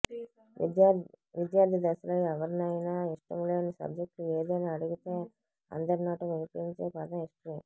విద్యార్థి దశలో ఎవరినైనా ఇష్టం లేని సబ్జెక్ట్ ఏదని అడిగితే అందరినోటా వినిపించే పదం హిస్టరీ